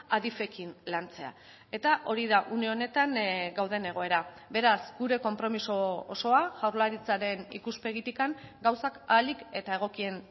adif ekin lantzea eta hori da une honetan gauden egoera beraz gure konpromiso osoa jaurlaritzaren ikuspegitik gauzak ahalik eta egokien